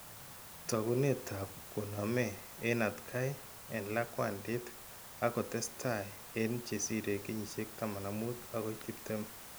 Taakunetab koname en atkay en lakwantit ak kotestay en chesire kenyisiek 15 agoi 20.